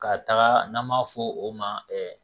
Ka taga n'an b'a fɔ o ma